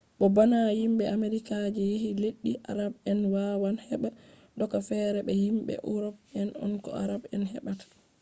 bo bana himɓe amerika je yehi leddi arab en wawan heɓa doka fere be je himɓe urop en ko arab en heɓata